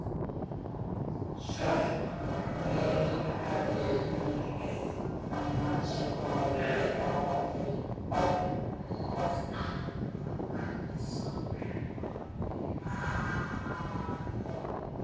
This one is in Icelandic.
Sökkvi höfðinu upp að nasaholum ofan í baðvatnið.